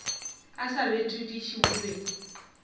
a sa betodiše o be